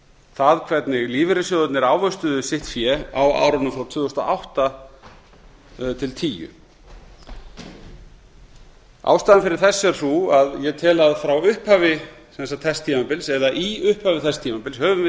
það hvernig lífeyrissjóðirnir ávöxtuðu sitt fé á árunum frá tvö þúsund og átta til tvö þúsund og tíu ástæðan fyrir þessu er sú að ég tel að frá upphafi þess tímabils eða í upphafi þess tímabils höfum við